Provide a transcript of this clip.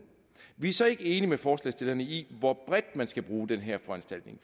vi er så ikke enige med forslagsstillerne i hvor bredt man skal bruge den her foranstaltning